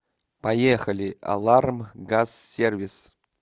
поехали алармгазсервис